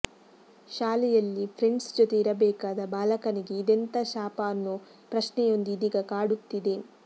ಶಾಲೆಯಲ್ಲಿ ಫ್ರೆಂಡ್ಸ್ ಜೊತೆ ಇರಬೇಕಾದ ಬಾಲಕನಿಗೆ ಇದೆಂಥಾ ಶಾಪ ಅನ್ನೋ ಪ್ರಶ್ನೆಯೊಂದು ಇದೀಗ ಕಾಡುತ್ತಿದೆ